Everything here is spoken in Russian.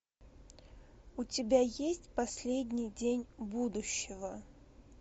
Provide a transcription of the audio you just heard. у тебя есть последний день будущего